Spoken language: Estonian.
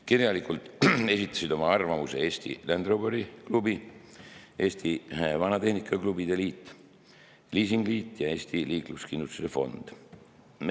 Kirjalikult esitasid oma arvamuse Eesti Land Roveri Klubi, Eesti Vanatehnika Klubide Liit, Liisingliit ja Eesti Liikluskindlustuse Fond.